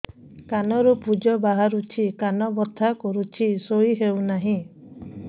କାନ ରୁ ପୂଜ ବାହାରୁଛି କାନ ବଥା କରୁଛି ଶୋଇ ହେଉନାହିଁ